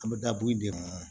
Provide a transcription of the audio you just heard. An bɛ da de kɔnɔ